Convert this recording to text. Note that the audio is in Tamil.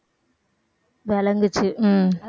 விளங்குச்சு